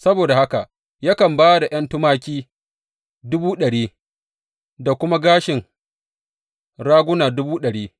Saboda haka yakan ba da ’yan tumaki dubu ɗari, da kuma gashin raguna dubu ɗari.